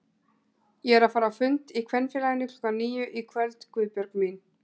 Ég er að fara á fund í Kvenfélaginu klukkan níu í kvöld Guðbjörg mín